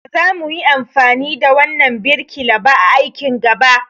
Ba za muyi amfani da wannan birkila ba a aikin gaba.